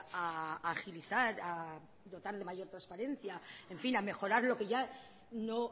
a agilizar a dotar de mayor transparencia en fin a mejorar lo que ya no